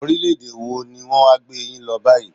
Orílẹ̀-èdè wọ ní wọn wá gbé yín lọ báyìí?